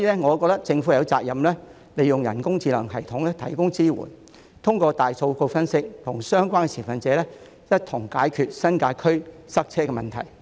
我覺得政府有責任利用人工智能系統提供支援，透過大數據分析，與相關持份者一同解決新界區塞車的問題。